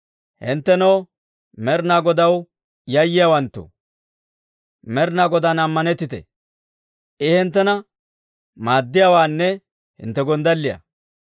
Hinttenoo, Med'inaa Godaw yayyiyaawanttoo, Med'inaa Godaan ammanettite! I hinttena maaddiyaawaanne hintte gonddalliyaa.